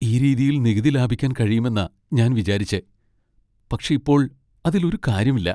ഈ രീതിയിൽ നികുതി ലാഭിക്കാൻ കഴിയുമെന്നാ ഞാൻ വിചാരിച്ചെ, പക്ഷേ ഇപ്പോൾ അതിൽ ഒരു കാര്യമില്ല.